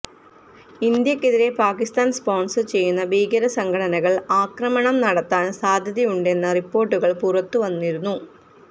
ഇന്ത്യക്കെതിരെ പാക്കിസ്ഥാൻ സ്പോൺസർ ചെയ്യുന്ന ഭീകര സംഘടനകൾ ആക്രമണം നടത്താൻ സാധ്യതയുണ്ടെന്ന റിപ്പോർട്ടുകൾ പുറത്തുവന്നിരുന്നു